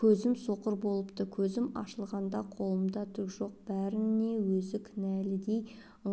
көзім соқыр болыпты көзім ашылғанда қолымда түк жоқ бәріне өзі кінәлідей